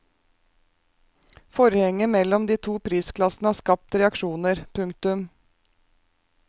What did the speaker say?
Forhenget mellom de to prisklassene har skapt reaksjoner. punktum